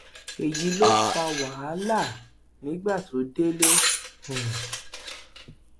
èyí ló fa wàhálà nígbà tó délé um